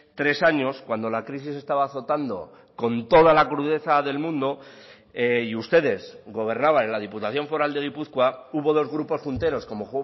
tres años cuando la crisis estaba azotando con toda la crudeza del mundo y ustedes gobernaban en la diputación foral de gipuzkoa hubo dos grupos junteros como